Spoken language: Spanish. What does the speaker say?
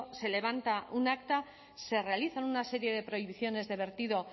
se levanta un acta se realizan una serie de prohibiciones de vertido